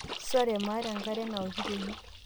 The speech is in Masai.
sore, maata enkare naoki tene